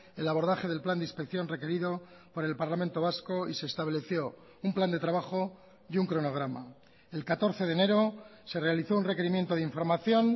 el abordaje del plan de inspección requerido por el parlamento vasco y se estableció un plan de trabajo y un cronograma el catorce de enero se realizó un requerimiento de información